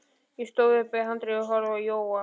Ég stóð upp við handriðið og horfði á Jóa.